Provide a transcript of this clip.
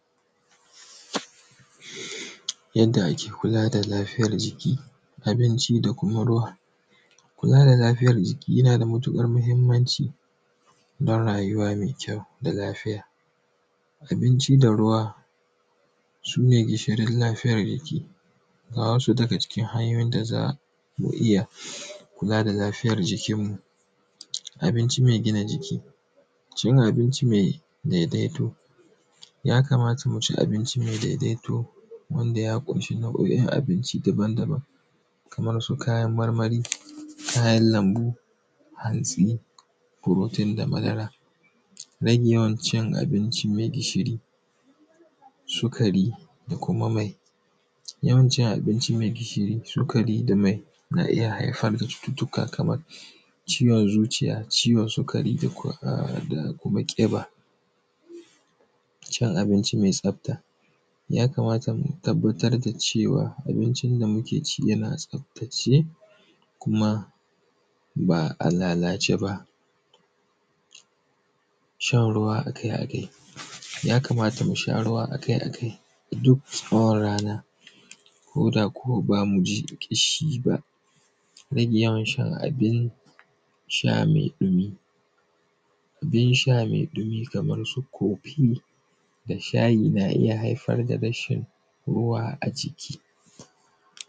Yanda ake kula da lafiyar jiki, abinci da kuma ruwa, kula da lafiyar jiki yana da matuƙar mahinmanci don rayuwa mai kyau da lafiya. Abinci da kuma ruwa su ne gishirin lafiyar jiki. Ga wasu daga cikin hanyoyin da za ku iya kula da lafiyar jikinmu: abinci mai gina jiki, cin abinci mai daidaito. Ya kamata mu ci abinci mai daidaito wanda ya ƙunshi nau'oin abinci daban-daban kamar su kayan marmari, kayan lambu, hatsi, furotin da madara. Rage yawanci abinci mai gishiri, sukari da kuma mayi. Yawanci abinci mai gishiri, sukari da mayi na iya haifar da cututtuka kamar ciwon zuciya, ciwon sukari da kuma a da. Ko kuma teɓa, cin abinci mai tafta. Ya kamata mu tabbata da cewa abincin da muke ci yana taftatse kuma ba a lalace ba. Shan ruwa a kai a kai, ya kamata mu sha ruwa a kai a kai duk tsawon rana, koda kuma ba mu ji ƙishi ba. Rage yawan shan abin sha mai ɗumi abin sha mai ɗumi kamar su kofi da shayi na iya haifar da rashin ruwa a jiki.